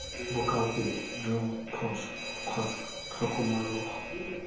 bokaopedi joo phoso kgotsa tlhokomologo